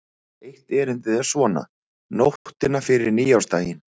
Eitt erindið er svona: Nóttina fyrir nýársdaginn